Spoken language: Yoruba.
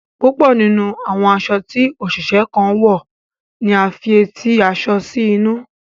Púpọ nínú àwọn aṣọ tí oṣiṣẹ kan wọ ní a fí eti aṣọ sí inú.